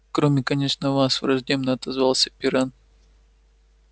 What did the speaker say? кроме конечно вас враждебно отозвался пирен